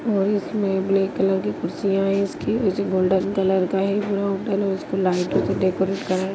और इसमें black colour की कुर्सीया हैं इसकी मुझे गोल्डन कलर का होटल है उसको लाइटो से डेकोरेट करा हैं।